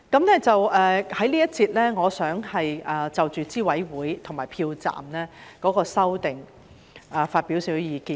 我在這一節想就着候選人資格審查委員會和票站的修訂發表一些意見。